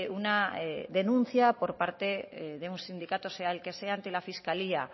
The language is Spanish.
una denuncia por parte de un sindicato sea el que sea ante la fiscalía